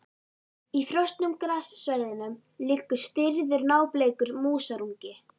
Í frosnum grassverðinum liggur stirður, nábleikur músarungi.